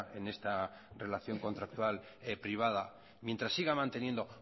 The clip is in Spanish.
en esta relación contractual privada mientras siga manteniendo